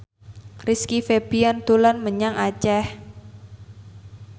Rizky Febian dolan menyang Aceh